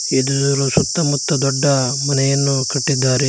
ಇದರ ಸುತ್ತಮುತ್ತ ದೊಡ್ಡ ಮನೆಯನ್ನು ಕಟ್ಟಿದ್ದಾರೆ.